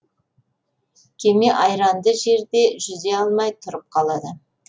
кеме айранды жерде жүзе алмай тұрып қалады